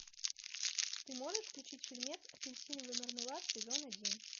ты можешь включить фильмец апельсиновый мармелад сезон один